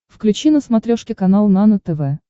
включи на смотрешке канал нано тв